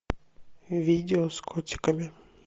видео с котиками